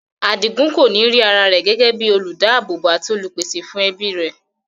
Adigun kòní rí ara rẹ̀ gẹ́gẹ́ bíi olùdáábòbò àti olùpèsè fún ẹbí rẹ̀.